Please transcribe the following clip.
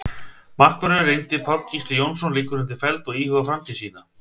Markvörðurinn reyndi Páll Gísli Jónsson liggur undir feld og íhugar framtíð sína.